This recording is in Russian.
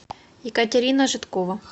екатерина жидкова